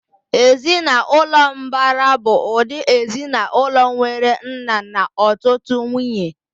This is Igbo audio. Ezinaụlọ mbara bụ ụdị ezinaụlọ nwéré nna na ọtụtụ nwunye